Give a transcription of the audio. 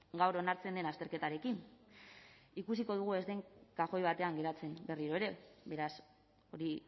gaur onartzen den azterketarekin ikusiko dugu ez den kajoi batean geratzen berriro ere beraz hori